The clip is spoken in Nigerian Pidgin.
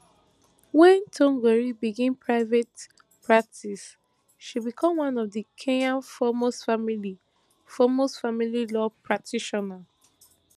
wen thongori begin private practice she become one of kenya foremost family foremost family law practitioners